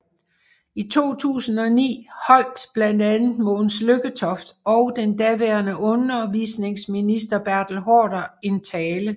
I 2009 holdt blandt andet Mogens Lykketoft og den daværende undervisningsminister Bertel Haarder en tale